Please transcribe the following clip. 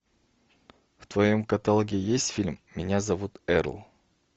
в твоем каталоге есть фильм меня зовут эрл